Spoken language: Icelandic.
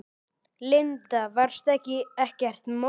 Linda: Varstu ekkert móður?